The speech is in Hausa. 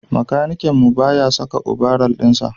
makanikin mu ba ya saka obaral din Shi